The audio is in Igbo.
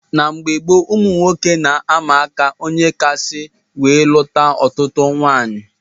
N' mgbe gboo ụmụnwoke na- ama aka ónyé ga akasị wee lụta ọtụtụ nwaanyị.